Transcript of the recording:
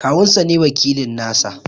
Kawun sa ne wakilin nasa.